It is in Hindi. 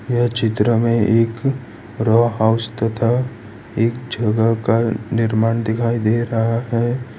यह चित्र में एक रा हाउस तथा एक जगह का निर्माण दिखाई दे रहा है।